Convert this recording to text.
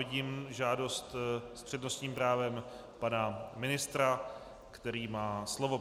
Vidím žádost s přednostním právem pana ministra, který má slovo.